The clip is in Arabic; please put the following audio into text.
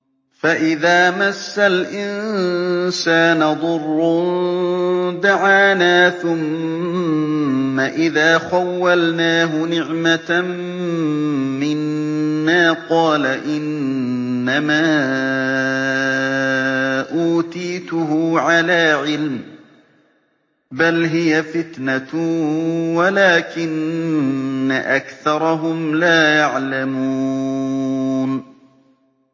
فَإِذَا مَسَّ الْإِنسَانَ ضُرٌّ دَعَانَا ثُمَّ إِذَا خَوَّلْنَاهُ نِعْمَةً مِّنَّا قَالَ إِنَّمَا أُوتِيتُهُ عَلَىٰ عِلْمٍ ۚ بَلْ هِيَ فِتْنَةٌ وَلَٰكِنَّ أَكْثَرَهُمْ لَا يَعْلَمُونَ